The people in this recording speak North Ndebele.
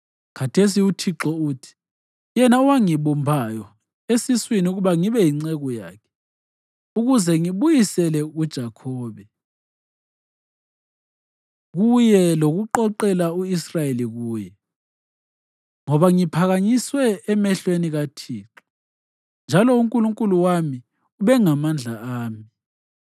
Khathesi uThixo uthi, yena owangibumbayo esiswini ukuba ngibe yinceku yakhe ukuze ngibuyisele uJakhobe kuye lokuqoqela u-Israyeli kuye, ngoba ngiphakanyisiwe emehlweni kaThixo njalo uNkulunkulu wami ubengamandla ami